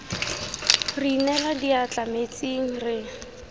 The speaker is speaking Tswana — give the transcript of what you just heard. re inela diatla metsing re